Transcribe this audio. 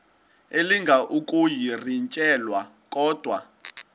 elinga ukuyirintyela kodwa